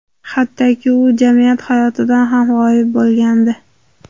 Hattoki u jamiyat hayotidan ham g‘oyib bo‘lgandi.